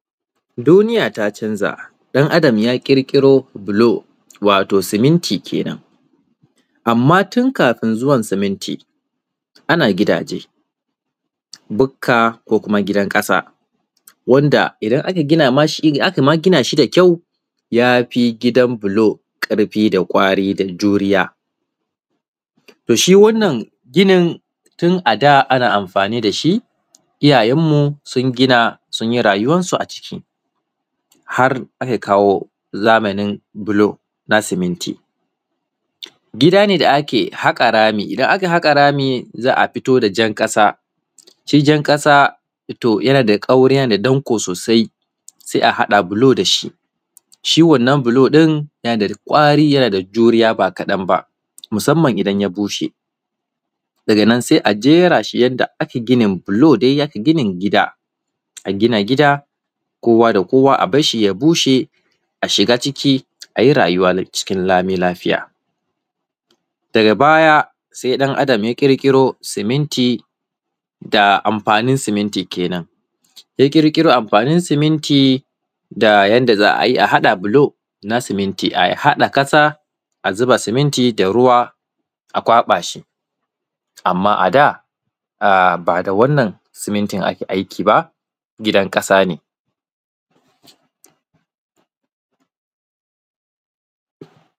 Duniyaa ta canza ɗan adam ya ƙirƙiro: bulo waato siminti kenan amma tun kafin zuwan siminti ana gidaaje bukka, ko kuma gidan ƙasa, wanda idan aka gina mai shi aka mai gina da kyau, ya fi gidan bulo ƙarfi, da kwari, da doriya. To, shi wannan ginin tun ada ana amfani da shi, iyayeenmu sun gina, sun yi rayuwansu a ciki, har aka kawo zamanin bulo na siminti gidaa ne da ake haƙa rami. In aka haƙa rami, za a fito da jan ƙasa shi jan ƙasa, to, yana da ƙauri, yana da danƙo soosai. Se a haɗa buloo da shi shi wannan bulon yana da ƙwari, yana da juriya ba kaɗan ba, musamman idan ya bushee. Daga nan see a jeraa shi wanda ake ginin bulo dai ya ginin gidaa, a gina gida, kowa da kowa a ba shi, ya bushee. A shigaa ciki, a yi rayuwa cikin nan lami-lafiya, daga baya se ɗan adam ya ƙirƙiro siminti da anfanin siminti kenan. Ya ƙirƙiro amfanin siminti, da yanda za a haɗa bulo na siminti, a haɗa ƙasa, a zuba siminti, da ruwa a ƙwaba shi, amma ada a ba da wannan simintin ake aiki ba gidan ƙasa ne.